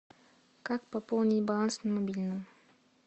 как пополнить баланс на мобильном